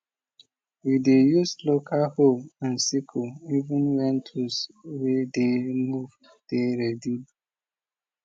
we dey use local hoe and sickle even when tools way dey move dey ready